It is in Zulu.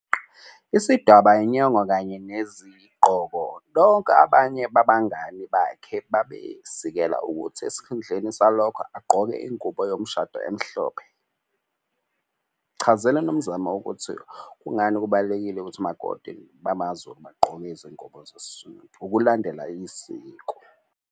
Isidwaba, inyongo kanye nezigqoko konke abanye babangani bakhe babesikela ukuthi esikhundleni salokho agqoke ingubo yomshado emhlophe. Chazela uNomzamo ukuthi kungani kubalulekile ukuthi umakoti bamaZulu bagqoke izingubo zesintu? Ukulandela isiko.